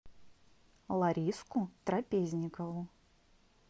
лариску трапезникову